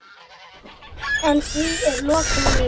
En því er lokið núna.